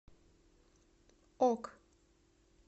ок